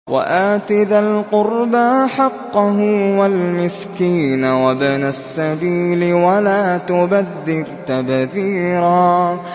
وَآتِ ذَا الْقُرْبَىٰ حَقَّهُ وَالْمِسْكِينَ وَابْنَ السَّبِيلِ وَلَا تُبَذِّرْ تَبْذِيرًا